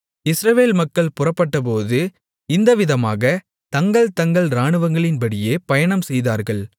இஸ்ரவேல் மக்கள் புறப்பட்டபோது இந்த விதமாகத் தங்கள் தங்கள் இராணுவங்களின்படியே பயணம்செய்தார்கள்